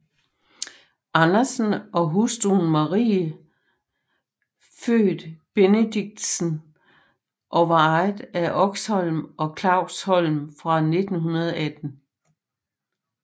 Andersen og hustru Maria født Benedictsen og var ejer af Oxholm og Klavsholm fra 1918